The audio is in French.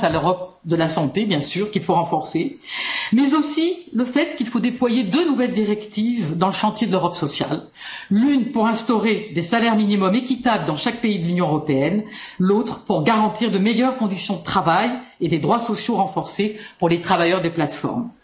Je pense à l'Europe de la santé, bien sûr, qu'il faut renforcer, mais aussi au fait qu'il faut déployer deux nouvelles directives dans le chantier de l'Europe sociale l'une pour instaurer des salaires minimums équitables dans chaque pays de l'Union européenne, l'autre pour garantir de meilleures conditions de travail et des droits sociaux renforcés pour les travailleurs des plateformes.